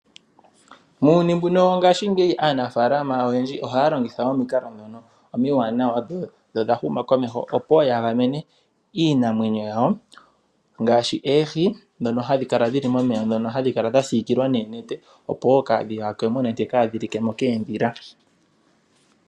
Muuyuni mbuka wanakanena aanafaalama oyendji oha ya longitha omikalo omiwanawa, dho odha huma komeho, opo ya gamene iinamwenyo yawo ngaashi; oohi dhomomeya ohadhi siikilwa noonete opo kadhi yakwe mo nenge dhi like mo koondhila.